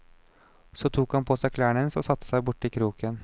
Så tok han på seg klærne hennes og satte seg borti kroken.